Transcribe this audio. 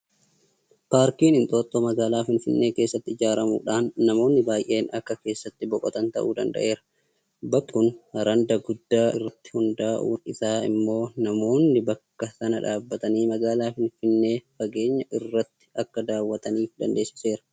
Paarkiin Inxooxxoo magaalaa Finfinnee keessatti ijaaramuudhaan namoonni baay'een akka keessatti boqotan ta'uu danda'eera. Bakki kun randa guddaa irratti hundaa'uun isaa immoo namoonni bakka sana dhaabbatanii magaalaa Finfinnee fageenya irratti akka daawwataniif dandeessiseera.